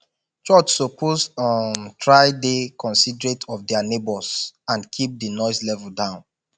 church suppose um try dey considerate of dia neigbhors and keep di noise level down